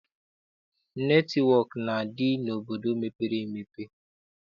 Netịwọk na-adị n'obodo mepere emepe.